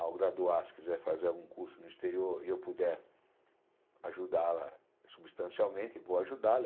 Ao graduar, se quiser fazer algum curso no exterior e eu puder ajudá-la substancialmente, vou ajudá-la.